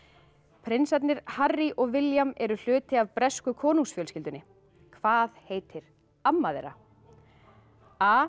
prinsarnir Harry og William eru hluti af bresku konungsfjölskyldunni hvað heitir amma þeirra a